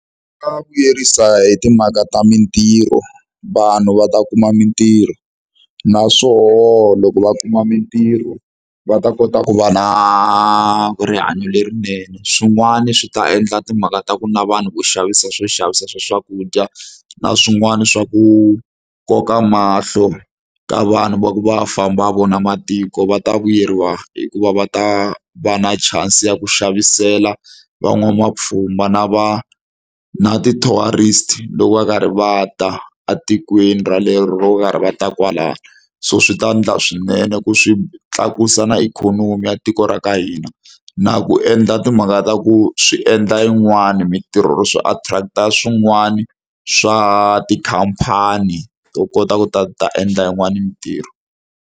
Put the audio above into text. Swa vuyerisa hi timhaka ta mitirho vanhu va ta kuma mitirho naswona loko va kuma mitirho va ta kota ku va na rihanyo lerinene swin'wani swi ta endla timhaka ta ku na vanhu vo xavisa swo xavisa swa swakudya na swin'wana swa ku koka mahlo ka vanhu va ku va famba va vona matiko va ta vuyeriwa hikuva va ta va na chance ya ku xavisela van'wamapfhumba na va na ti-tourist loko va karhi va ta etikweni rolero va karhi va ta kwalano so swi ta endla swinene ku swi tlakusa na ikhonomi ya tiko ra ka hina na ku endla timhaka ta ku swi endla yin'wana mitirho swi attract-a swin'wana swa tikhampani to kota ku ta ta endla yin'wana yi mitirho.